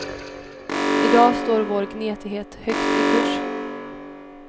I dag står vår gnetighet högt i kurs.